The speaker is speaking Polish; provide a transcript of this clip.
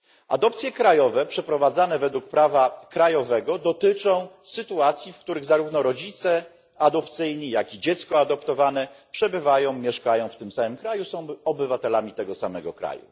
Adopcje krajowe, przeprowadzane według prawa krajowego, mają miejsce w sytuacjach, w których zarówno rodzice adopcyjni, jaki i adoptowane dziecko przebywają, mieszkają w tym samym kraju, są obywatelami tego samego państwa.